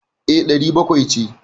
E, ɗari bakwai ce.